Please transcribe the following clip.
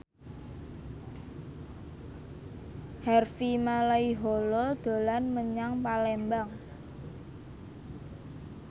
Harvey Malaiholo dolan menyang Palembang